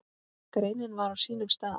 Greinin var á sínum stað.